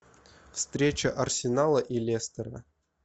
встреча арсенала и лестера